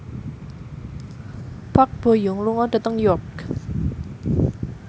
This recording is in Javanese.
Park Bo Yung lunga dhateng York